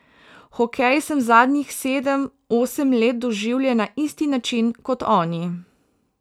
Hokej sem zadnjih sedem, osem let doživljal na isti način kot oni.